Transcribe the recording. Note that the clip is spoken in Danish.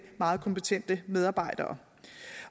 meget kompetente medarbejdere